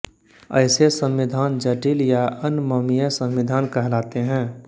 ऐसे संविधान जटिल या अनममीय संविधान कहलाते हैं